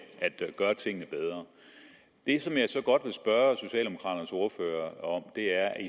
gøre tingene bedre det som jeg så godt vil spørge socialdemokraternes ordfører om er